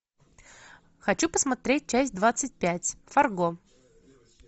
хочу посмотреть часть двадцать пять фарго